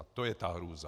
A to je ta hrůza!